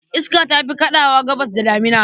Iska ta fi kaɗawa Gabasr da damina.